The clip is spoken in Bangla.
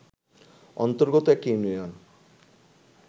অন্তর্গত একটি ইউনিয়ন